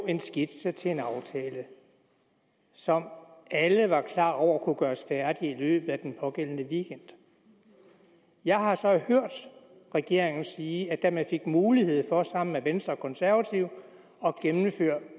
en skitse til en aftale som alle var klar over kunne gøres færdig i løbet af den pågældende weekend jeg har så hørt regeringen sige at da man fik mulighed for sammen med venstre og konservative at gennemføre